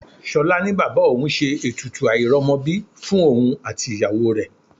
Ṣolá ní bàbá òun ṣe ètùtù airomobi fún òun àti ìyàwó rẹ.